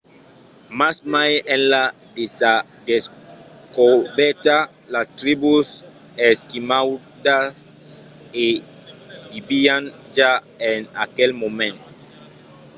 mas mai enlà de sa descobèrta las tribus esquimaudas i vivián ja en aquel moment